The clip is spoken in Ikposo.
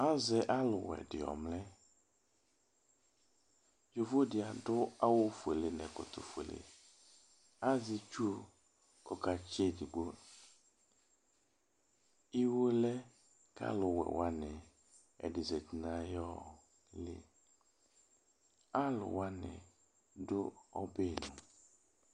Azɛ ɔlʋwɛ di ɔmlɛ, yovo di adʋ awʋ fuele n'ɛkɔtɔ fuele, az'itsu k'ɔkatsi edigbo Wo lɛ k'alʋwɛ wani, ɛdi zati n'ayɔɔɔ liAlʋwani dʋ ɔbɛli